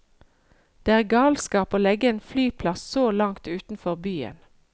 Det er galskap å legge en flyplass så langt utenfor byen.